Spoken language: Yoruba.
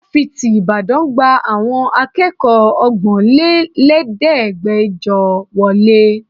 Fáfitì ìlú Ìbàdàn gba àwọn akẹ́kọ̀ọ́ ọgbọ́nlẹ́lẹ̀ẹ́dẹ́gbẹjọ wọlé.